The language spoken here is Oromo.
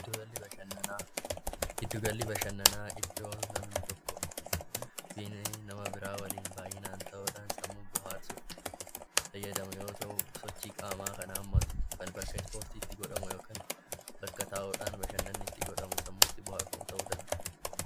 Giddugalli bashannanaa, giddugalli bashannanaa iddoo namni tokko nama biraa waliin baay'inaan ta'uudhaan sammuu booharsuuf fayyadamu yoo ta'u sochii qaamaa kan hammatu kan bakka ispoortiitti godhamu yookaan bakka taa'uudhaan bashannanni itti godhamu sammuu itti booharfamu ta'uu danda'a.